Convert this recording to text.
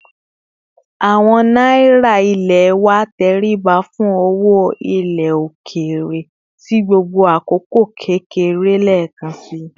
Owo náírà ilé wa tẹríba fún owó ilé òkèèrè sì gbogbo àkókò kékeré lekansi